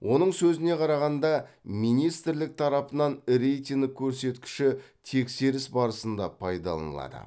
оның сөзіне қарағанда министрлік тарапынан рейтинг көрсеткіші тексеріс барысында пайдаланылады